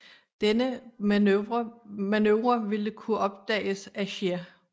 Denne manøvre ville kunne opdages af Scheer